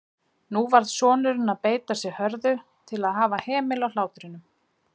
Nú varð sonurinn að beita sig hörðu til að hafa hemil á hlátrinum.